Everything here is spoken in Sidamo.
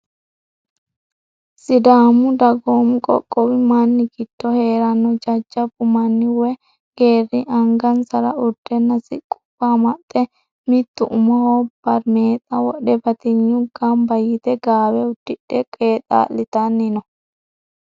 Sidaamu dagoomi qoqqowi manni giddo heeranno jajjabbu manni woyi geerri angansara urdenna siqqubba amaxxe mittu umoho barimeexa wodhe batinyu Gamba yite gaawe uddidhe qeexaa'litanni no.